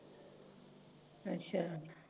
ਅਛਾ